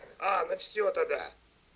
а ну всё тогда